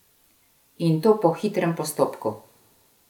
In to po hitrem postopku!